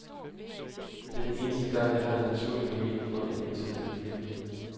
Det er den eneste gang, jeg har en naturlig mulighed for at invitere dem i byen.